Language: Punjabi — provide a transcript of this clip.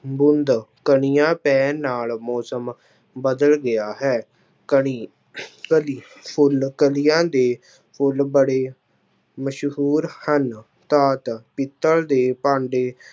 ਬੂੰਦ ਕਣੀਆਂ ਪੈਣ ਨਾਲ ਮੌਸਮ ਬਦਲ ਗਿਆ ਹੈ ਕਣੀ ਕਲੀ ਫੁੱਲ ਕਲੀਆਂ ਦੇ ਫੁੱਲ ਬੜੇ ਮਸ਼ਹੂਰ ਹਨ, ਟਾਟ ਪਿੱਤਲ ਦੇ ਭਾਂਡੇ